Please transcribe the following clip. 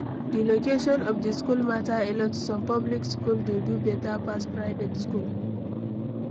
Di location of di school matter alot, some public school dey do better pass private school